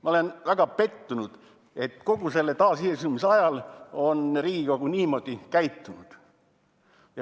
Ma olen väga pettunud, et kogu taasiseseisvuse ajal on Riigikogu niimoodi käitunud.